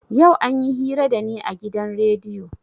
Yau anyi hira da ni a gidan rediyo.